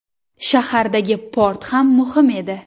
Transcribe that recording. Shahardagi port ham muhim edi.